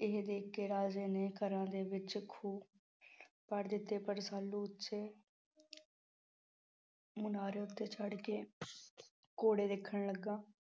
ਇਹ ਦੇਖਕੇ ਰਾਜੇ ਨੇ ਘਰਾਂ ਦੇ ਵਿੱਚ ਖੂਹ ਪੁੱਟ ਦਿੱਤੇ ਪਰ ਰਸਾਲੂ ਉੱਚੇ ਮੁਨਾਰੇ ਉੱਤੇ ਚੜ ਕੇ ਘੋੜੇ ਦੇਖਣ ਲੱਗਾ।